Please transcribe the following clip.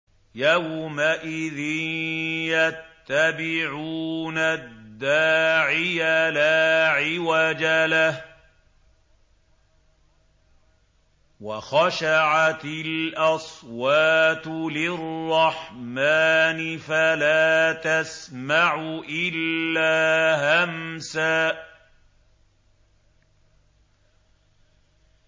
يَوْمَئِذٍ يَتَّبِعُونَ الدَّاعِيَ لَا عِوَجَ لَهُ ۖ وَخَشَعَتِ الْأَصْوَاتُ لِلرَّحْمَٰنِ فَلَا تَسْمَعُ إِلَّا هَمْسًا